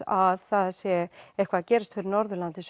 að það sé eitthvað að gerast á Norðurlandi